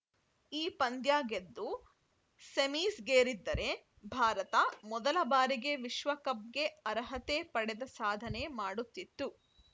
ಈ ಪಂದ್ಯ ಗೆದ್ದು ಸೆಮೀಸ್‌ಗೇರಿದ್ದರೆ ಭಾರತ ಮೊದಲ ಬಾರಿಗೆ ವಿಶ್ವಕಪ್‌ಗೆ ಅರ್ಹತೆ ಪಡೆದ ಸಾಧನೆ ಮಾಡುತ್ತಿತ್ತು